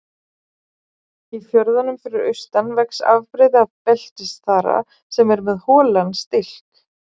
Í fjörðunum fyrir austan vex afbrigði af beltisþara sem er með holan stilk.